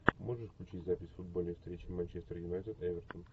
можешь включить запись футбольной встречи манчестер юнайтед эвертон